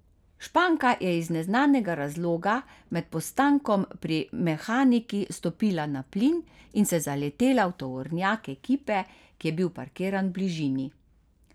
Španka je iz neznanega razloga med postankom pri mehanikih stopila na plin in se zaletela v tovornjak ekipe, ki je bil parkiran v bližini.